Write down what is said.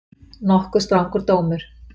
Nokkuð strangur dómur